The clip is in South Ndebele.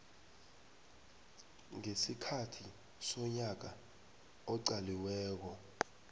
ngesikhathi sonyaka oqaliweko